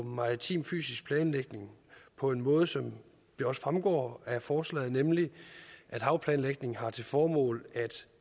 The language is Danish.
maritim fysisk planlægning jo på den måde som det også fremgår af forslaget nemlig at havplanlægningen har til formål at